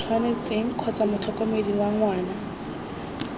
tshwanetseng kgotsa motlhokomedi wa ngwana